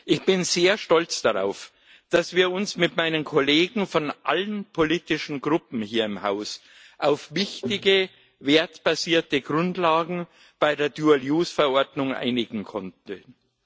Ich bin sehr stolz darauf, dass wir uns mit meinen Kollegen von allen politischen Gruppen hier im Haus auf wichtige wertebasierte Grundlagen bei der Dual use Verordnung einigen konnten.